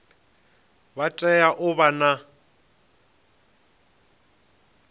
vha tea u vha na